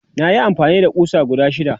nayi amfani da ƙusa guda shida